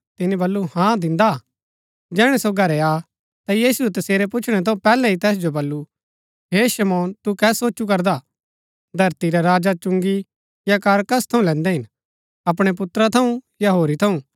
तिनी बल्लू हा दिन्दा जैहणै सो घरै आ ता यीशुऐ तसेरै पुछणै थऊँ पैहलै ही तैस जो बल्लू हे शमौन तू कै सोचु करदा धरती रै राजा चुंगी या कर कस थऊँ लैन्दै हिन अपणै पुत्रा थऊँ या होरी थऊँ